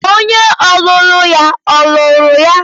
Onye ọlụlụ ya or lụrụ ya?